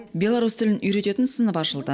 беларусь тілін үйрететін сынып ашылды